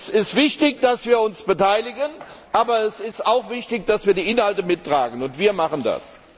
Es wichtig, dass wir uns beteiligen, aber es ist auch wichtig, dass wir die Inhalte mittragen. Und wir machen das!